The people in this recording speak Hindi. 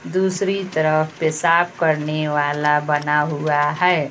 दूसरी तरफ पेशाब करने वाला बना हुआ है।